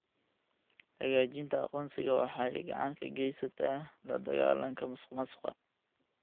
Xaqiijinta aqoonsiga waxay gacan ka geysataa la dagaalanka musuqmaasuqa.